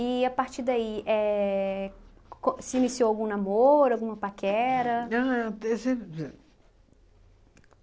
a partir daí, éh co se iniciou algum namoro, alguma paquera? Ah,